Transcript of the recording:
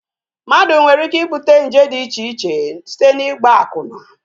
Mmadụ nwere ike ibute nje dị icheche site n'ịgba akwụna